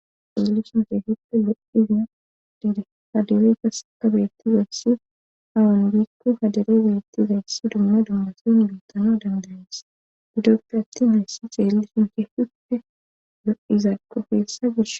Izilu sunke hippe lo'izina dide hadare kas ka beetti zayssi hawan biikko hadare zaetti zayssi dumma dummasiyun biitano dandanes gidoppe atti nayssi xeelli sunke hippe lo'izaakko keessa gish.